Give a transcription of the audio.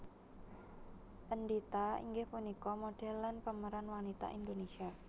Endhita inggih punika modèl lan pemeran wanita Indonesia